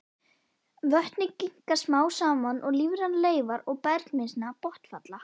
Vötnin grynnka smám saman er lífrænar leifar og bergmylsna botnfalla.